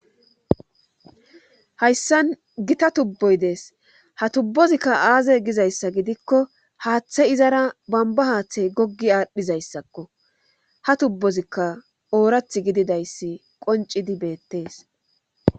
hayssan gita tubboy dees ha tubbozikka aaze gizayssa gidikko haaththe izara bamba haaththey goggi aadhdhizayssakko ha tubbozikka oorath gididayssi qoncidi beettees